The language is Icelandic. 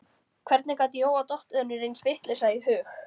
Hvernig gat Jóa dottið önnur eins vitleysa í hug?